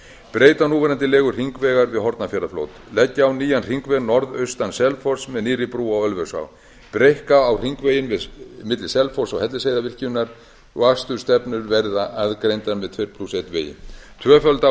breyta á núverandi legu hringvegar við hornafjarðarfljót leggja á nýjan hringveg norðaustan selfoss með nýrri brú á ölfusá breikka á hringveginn milli selfoss og hellisheiðarvirkjunar og akstursstefnur verða aðgreindar með tuttugu og eitt vegi tvöfalda á